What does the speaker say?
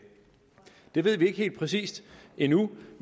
det ved vi ikke helt præcis endnu